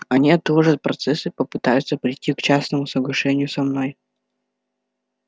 они отложат процесс и попытаются прийти к частному соглашению со мной